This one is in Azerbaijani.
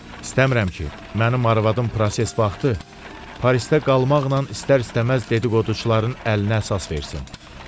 İstəmirəm ki, mənim arvadım proses vaxtı Parisdə qalmaqla istər-istəməz dedi-qoduçuların əlinə əsas versin.